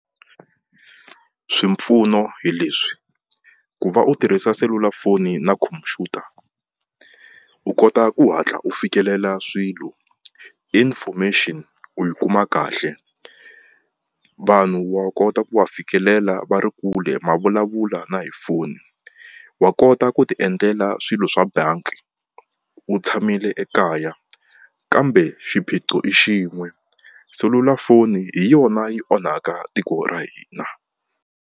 Swipfuno hi leswi ku va u tirhisa selulafoni na khompyuta u kota ku hatla u fikelela swilo information u yi kuma kahle vanhu wa kota ku wa fikelela va ri kule ma vulavula na hi foni wa kota ku ti endlela swilo swa banki u tshamile ekaya kambe xiphiqo i xin'we selulafoni hi yona yi onhaka tiko ra hina.